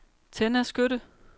Tenna Skytte